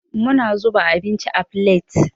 Muna zuba abinci a filet.